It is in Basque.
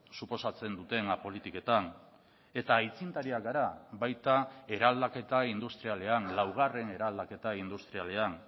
suposatzen dutena politiketan eta aitzindariak gara baita eraldaketa industrialean laugarren eraldaketa industrialean